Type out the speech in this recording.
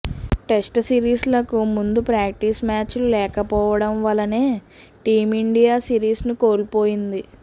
test series లకు ముందు practice match లు లేకపోవడం వలెనే టీమిండియా సిరీస్ ను కోల్పోయింది